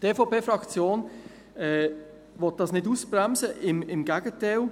Die EVP-Fraktion will dies nicht ausbremsen, im Gegenteil.